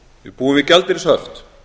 við búum við gjaldeyrishöft